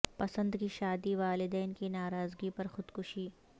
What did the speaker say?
پسند کی شادی والدین کی ناراضگی پر خودکشی